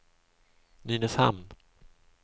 Nynäshamn